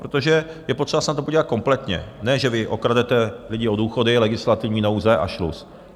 Protože je potřeba se na to podívat kompletně, ne že vy okradete lidi o důchody, legislativní nouze a šlus.